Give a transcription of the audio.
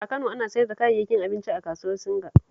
A Kano, ana siyar da kayayyakin abinci a kasuwar Singa